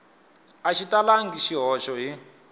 a xi talangi swihoxo hi